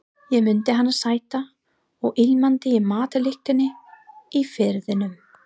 Ég mundi hana sæta og ilmandi í matarlyktinni í Firðinum.